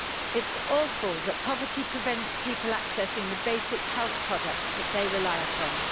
It's awful that poverty prevents people from accessing the basic health products that they rely upon.